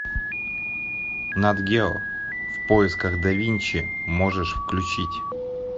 нат гео в поисках да винчи можешь включить